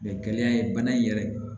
Mɛ kɛnɛya ye bana in yɛrɛ